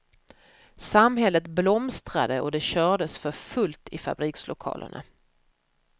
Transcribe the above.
Samhället blomstrade och det kördes för fullt i fabrikslokalerna.